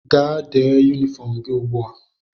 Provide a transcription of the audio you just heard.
Gaa dee yunifọm gị ugbu a!